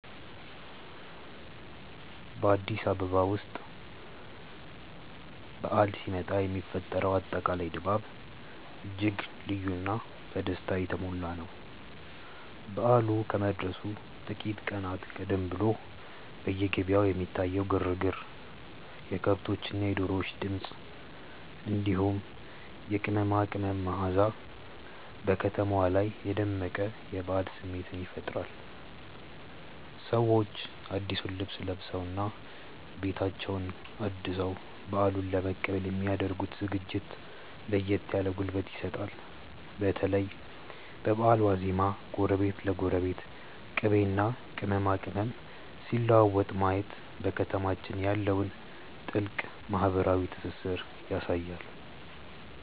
በአዲስ አበባ ውስጥ በዓል ሲመጣ የሚፈጠረው አጠቃላይ ድባብ እጅግ ልዩና በደስታ የተሞላ ነው። በዓሉ ከመድረሱ ጥቂት ቀናት ቀደም ብሎ በየገበያው የሚታየው ግርግር፣ የከብቶችና የዶሮዎች ድምፅ፣ እንዲሁም የቅመማ ቅመም መዓዛ በከተማዋ ላይ የደመቀ የበዓል ስሜት ይፈጥራል። ሰዎች አዲሱን ልብስ ለብሰውና ቤታቸውን አድሰው በዓሉን ለመቀበል የሚ ያደርጉት ዝግጅት ለየት ያለ ጉልበት ይሰጣል። በተለይ በበዓል ዋዜማ ጎረቤት ለጎረቤት ቅቤና ቅመማ ቅመም ሲለዋወጥ ማየት በከተማችን ያለውን ጥልቅ ማህበራዊ ትስስር ያሳያል።